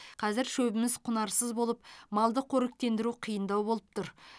қазір шөбіміз құнарсыз болып малды қоректендіру қиындау болып тұр